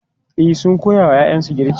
E, sun koya wa ‘ya’yansu girki.